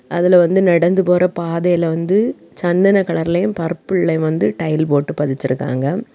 அதுல வந்து நடந்து போற பாதைல வந்து சந்தன கலர்லயும் பர்புள்லயும் வந்து டைல் போட்டு பதிச்சிருக்காங்க.